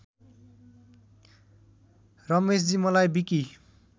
रमेशजी मलाई विकी